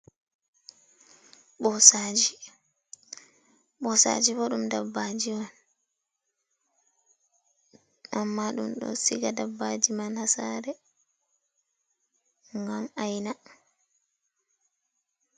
Ɓosaaji! Ɓosaaji bo ɗum dabbaji on. Amma ɗum ɗo siga dabbaji man haa saare, ngam aina.